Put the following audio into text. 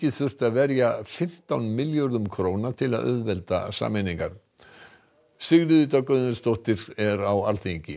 þurft að verja fimmtán milljörðum króna til að auðvelda sameiningar Sigríður Dögg Auðunsdóttir er á Alþingi